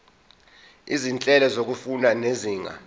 izinhlelo zokufunda zezinga